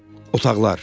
Otaqlar.